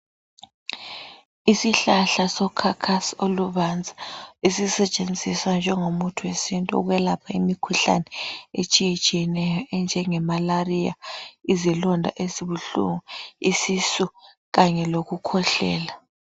Isihlahla sokhakhasi olubanzi esisetshenziswa njengomuthi wesintu ukwelapha imikhuhlane etshiyetshiyeneyo ngemalaria izilonda ezibuhlungu, isisu Kanye lokukhwehlela.